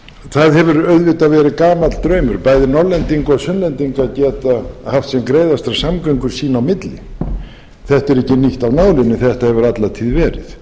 það hefur auðvitað verið gamall draumur bæði norðlendinga og sunnlendinga að geta haft sem greiðastar samgöngur sín á milli þetta er ekkert nýtt af nálinni þetta hefur alla tíð verið